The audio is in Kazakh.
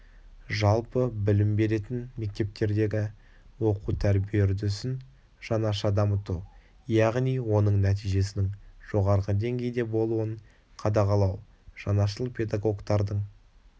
жалпы білім беретін мектептердегі оқу тәрбие үрдісін жаңаша дамыту яғни оның нәтижесінің жоғарғы деңгейде болуын қадағалау жаңашыл педагогтардың